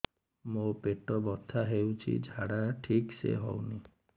ମୋ ପେଟ ବଥା ହୋଉଛି ଝାଡା ଠିକ ସେ ହେଉନି